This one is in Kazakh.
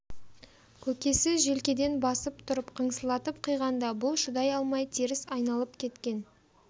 көкесі желкеден басып тұрып қыңсылатып қиғанда бұл шыдай алмай теріс айналып кеткен